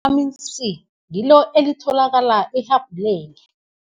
Vithamini C ngilo elitholakala ehabhuleni.